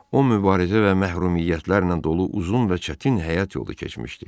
O mübarizə və məhrumiyyətlərlə dolu uzun və çətin həyat yolu keçmişdi.